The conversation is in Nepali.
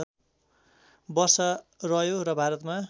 वर्ष रह्यो र भारतमा